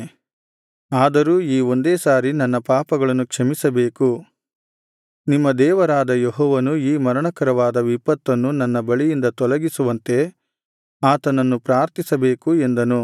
ಆದರೂ ಈ ಒಂದೇ ಸಾರಿ ನನ್ನ ಪಾಪಗಳನ್ನು ಕ್ಷಮಿಸಬೇಕು ನಿಮ್ಮ ದೇವರಾದ ಯೆಹೋವನು ಈ ಮರಣಕರವಾದ ವಿಪತ್ತನ್ನು ನನ್ನ ಬಳಿಯಿಂದ ತೊಲಗಿಸುವಂತೆ ಆತನನ್ನು ಪ್ರಾರ್ಥಿಸಬೇಕು ಎಂದನು